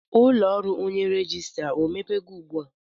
Ụlọ ọrụ onye rejistra emepego ugbu a?